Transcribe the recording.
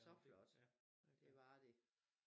Så flot det var det